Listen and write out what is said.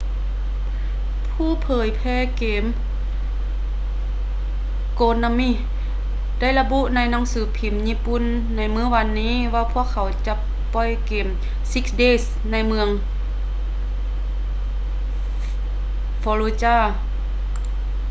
ຜູ້ເຜີຍແຜ່ເກມ konami ໄດ້ລະບຸໃນໜັງສືພິມຍີ່ປຸ່ນໃນມື້ນີ້ວ່າພວກເຂົາຈະບໍ່ປ່ອຍເກມ six days ໃນເມືອງ fallujah